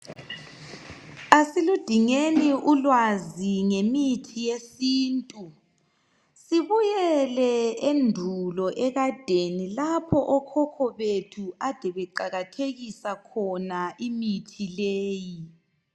Asiludingeni ulwazi ngemithi yesintu sibuyele endulo ekadeni lapho okhokho bethu ade beqakathekisa khona imithi leyi.